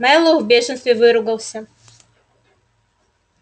мэллоу в бешенстве выругался